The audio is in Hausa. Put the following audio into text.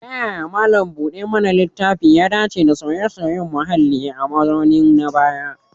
Ta yaya malam buɗe mana littafi ya dace da sauye-sauyen muhalli a mazauninsu na baya?